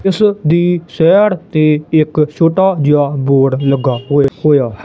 ਇਸ ਦੀ ਸਾਈਡ ਤੇ ਇੱਕ ਛੋਟਾ ਜਿਹਾ ਬੋਰਡ ਲੱਗਾ ਓਏ ਹੋਇਆ ਹੈ।